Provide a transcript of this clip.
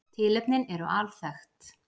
Tilefnin eru alþekkt